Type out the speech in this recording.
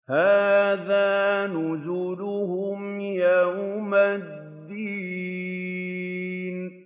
هَٰذَا نُزُلُهُمْ يَوْمَ الدِّينِ